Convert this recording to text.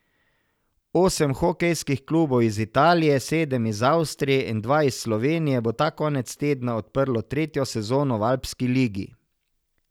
Osem hokejskih klubov iz Italije, sedem iz Avstrije in dva iz Slovenije bo ta konec tedna odprlo tretjo sezono v alpski ligi.